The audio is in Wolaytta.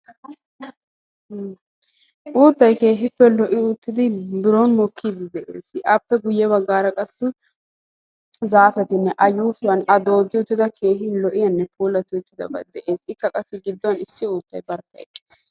Uuttay keehi lo"i uttidi biron mokkide de'ees; appe guyye baggara qassi zaafetinne a yuushshuwan a doodi uttidabati keehi lo"iyanne pulati uttidabati de'ees; ikka qassi gidduwan issi uuttay barkka eqqiis.